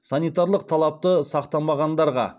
санитарлық талапты сақтамағандарға